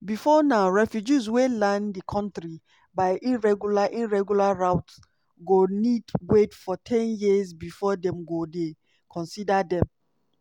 bifor now refugees wey land di kontri by irregular irregular routes go need wait for ten years bifor dem go dey consider dem.